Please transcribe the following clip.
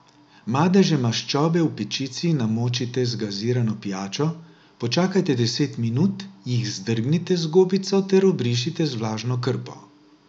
Madeže maščobe v pečici namočite z gazirano pijačo, počakajte deset minut, jih zdrgnite z gobico ter obrišite z vlažno krpo.